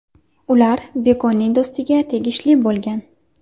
Ular Bekonning do‘stiga tegishli bo‘lgan.